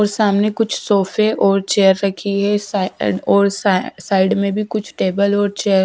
सामने कुछ सोफे और चेयर रखी है साई ओ और सा साइड में भी कुछ टेबल और चेयर --